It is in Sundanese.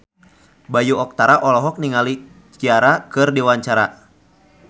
Bayu Octara olohok ningali Ciara keur diwawancara